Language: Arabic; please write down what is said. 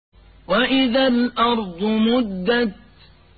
وَإِذَا الْأَرْضُ مُدَّتْ